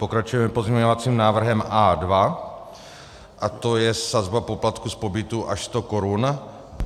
Pokračujeme pozměňovacím návrhem A2 a to je sazba poplatku z pobytu až sto korun.